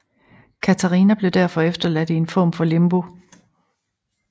Katarina blev derfor efterladt i en form for limbo